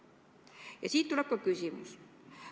Ja siit tuleb ka küsimus.